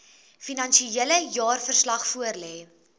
finansiële jaarverslag voorlê